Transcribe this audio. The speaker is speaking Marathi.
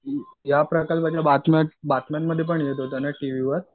या प्रकार बातम्यांमध्ये पण येत होतं ना टीव्हीवर?